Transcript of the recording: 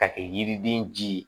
Ka kɛ yiriden ji ye